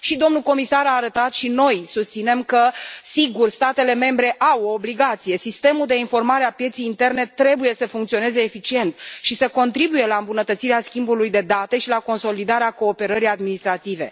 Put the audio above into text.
Și domnul comisar a arătat, și noi susținem că, sigur, statele membre au o obligație sistemul de informare a pieței interne trebuie să funcționeze eficient și să contribuie la îmbunătățirea schimbului de date și la consolidarea cooperării administrative.